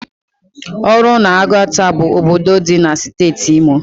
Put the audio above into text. Oru na Oguta bu obodo di na steeti Imo